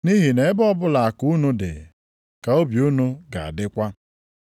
Nʼihi na ebe ọbụla akụ unu dị ka obi unu ga-adịkwa.